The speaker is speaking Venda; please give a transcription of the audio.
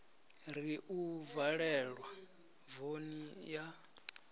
ri u valelwa voni ya